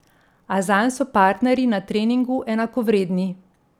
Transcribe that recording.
A zanj so partnerji na treningu enakovredni.